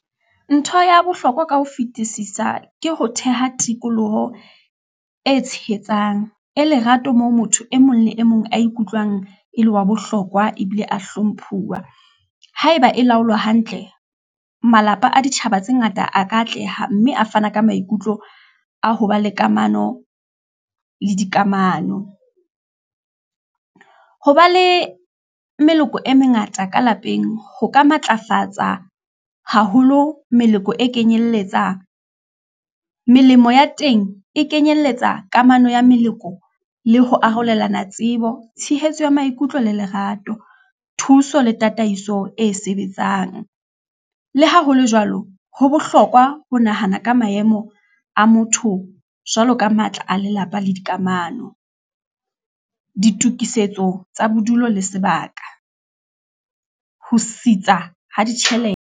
Ntho ya bohlokwa ka ho fetisisa ke ho theha tikoloho e tshehetsang, e lerato, moo motho e mong le e mong a ikutlwang e le wa bohlokwa, ebile a hlomphuwa, haeba e laolwa hantle, malapa a ditjhaba tse ngata a ka atleha, mme a fana ka maikutlo a ho ba le kamano le dikamano. Ho ba le meloko e mengata ka lapeng, ho ka matlafatsa haholo meloko e kenyelletsa melemo ya teng, e kenyelletsa kamano ya meleko, le ho arolelana tsebo, tshehetso ya maikutlo le lerato, thuso le tataiso e sebetsang. Le ha hole jwalo, ho bohlokwa ho nahana ka maemo a motho, jwalo ka matla a lelapa le dikamano, ditokisetso tsa bodulo le sebaka, ho sitisa ho ditjhelete.